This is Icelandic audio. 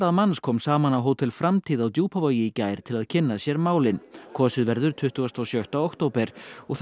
manns kom saman á Hótel framtíð á Djúpavogi í gær til að kynna sér málin kosið verður tuttugasta og sjötta október og þá